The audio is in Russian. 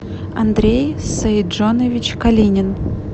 андрей саиджонович калинин